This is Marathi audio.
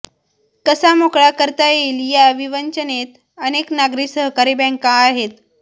कसा मोकळा करता येईल या विवंचनेत अनेक नागरी सहकारी बँका आहेत